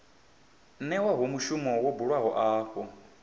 newaho mushumo wo buliwaho afho